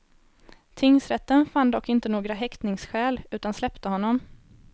Tingsrätten fann dock inte några häktningsskäl, utan släppte honom.